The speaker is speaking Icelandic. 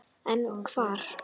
En hvar?